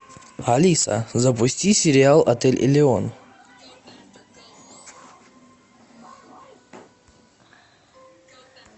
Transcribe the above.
алиса запусти сериал отель элеон